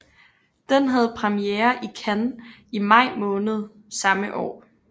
Den havde premiere i Cannes i maj måned samme år